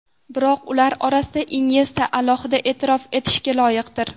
Biroq ular orasida Inyesta alohida e’tirof etishga loyiqdir.